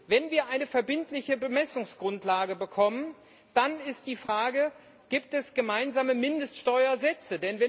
Wenn wir eine verbindliche Bemessungsgrundlage bekommen, dann ist die Frage Gibt es gemeinsame Mindeststeuersätze?